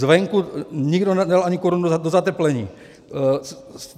Zvenku nikdo nedal ani korunu do zateplení.